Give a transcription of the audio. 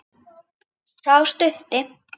Sá stutti.